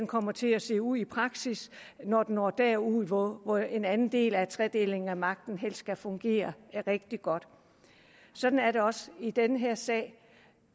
kommer til at se ud i praksis når den når derud hvor hvor en anden del af tredelingen af magten helst skal fungere rigtig godt sådan er det også i den her sag